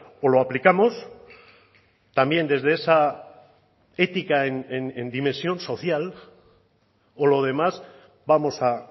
o lo aplicamos también desde esa ética en dimensión social o lo demás vamos a